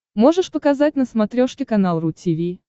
можешь показать на смотрешке канал ру ти ви